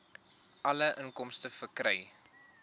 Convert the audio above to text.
alle inkomste verkry